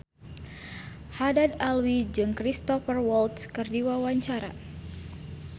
Haddad Alwi jeung Cristhoper Waltz keur dipoto ku wartawan